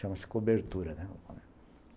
Chama-se cobertura, né?